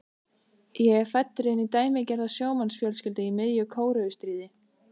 Ég er fæddur inn í dæmigerða sjómannsfjölskyldu í miðju Kóreustríði.